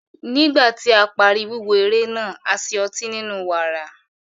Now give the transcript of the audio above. Nígbà tí a parí wíwo eré náà, a ṣe ótì ninu wààrà.